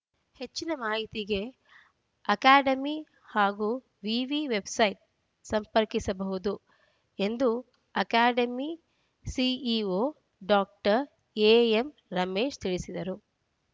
ಹೆಚ್ಚಿನ ಮಾಹಿತಿಗೆ ಅಕಾಡೆಮಿ ಹಾಗೂ ವಿವಿ ವೆಬ್‌ಸೈಟ್‌ ಸಂಪರ್ಕಿಸಬಹುದು ಎಂದು ಅಕಾಡೆಮಿ ಸಿಇಒ ಡಾಕ್ಟರ್ ಎಎಂರಮೇಶ್ ತಿಳಿಸಿದ್ದಾರು